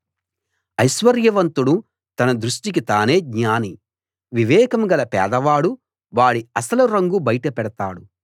ఐశ్వర్యవంతుడు తన దృష్టికి తానే జ్ఞాని వివేకం గల పేదవాడు వాడి అసలు రంగు బయట పెడతాడు